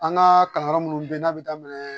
An ka kalanyɔrɔ munnu be yen n'a bi daminɛ